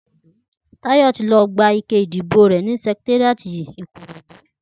Tayo ti lọ gbá iké idibó rè ni sẹkitériátí Ikorodu